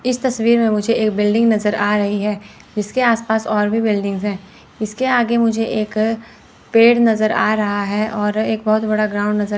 इस तस्वीर में मुझे एक बिल्डिंग नजर आ रही है जिसके आस पास और भी बिल्डिंग्स है इसके आगे मुझे एक पेड़ नजर आ रहा है और एक बहोत बड़ा ग्राउंड नजर--